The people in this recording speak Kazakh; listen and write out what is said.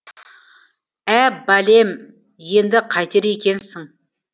ә бәлем енді қайтер екенсің